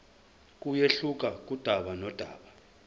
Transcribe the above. kuyehluka kudaba nodaba